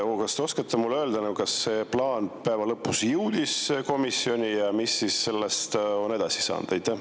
Kas te oskate mulle öelda, kas see plaan päeva lõpuks jõudis komisjoni ja mis sellest on edasi saanud?